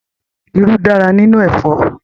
Irú dára nínú ẹ̀fọ́.